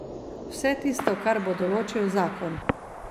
Vse tisto, kar bo določil zakon.